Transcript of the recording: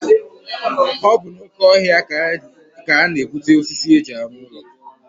Ọ bụ n'oke ọhịa ka a na-egbute osisi e ji arụ ụlọ.